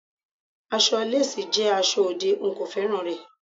Aṣọ lásìì jẹ́ aṣọ òde, n kò féràn rẹ̀.